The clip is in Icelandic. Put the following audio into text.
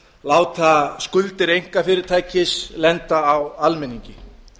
láta skuldir einkafyrirtækis lenda á almenningi